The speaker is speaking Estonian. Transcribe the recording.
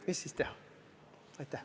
Mis siis teha?